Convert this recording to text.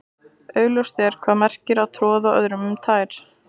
augljóst er hvað það merkir að troða öðrum um tær